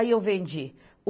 Aí eu vendi.